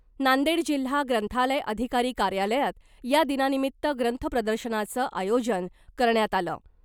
नांदेड जिल्हा ग्रंथालय अधिकारी कार्यालयात या दिनानिमित्त ग्रंथप्रदर्शनाचं आयोजन करण्यात आलं .